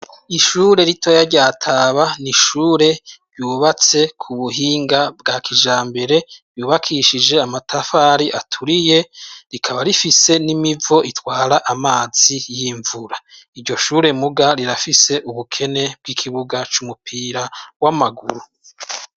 Ishure ritoya rya Taba n'ishure ryubatse ku buhinga bwa kijambere yubakishije amatafari aturiye ,rikaba rifise n'imivo itwara amazi y'imvura ,iryo shure muga rirafise ubukene bw'ikibuga c'umupira w'amaguru.